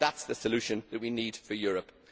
That is the solution that we need for Europe.